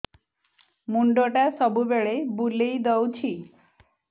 ମୁଣ୍ଡଟା ସବୁବେଳେ ବୁଲେଇ ଦଉଛି